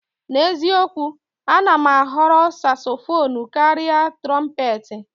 N'eziokwu, a na m ahọrọ Sasofonu karịa Trompetị.